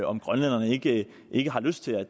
om grønlænderne ikke ikke har lyst til at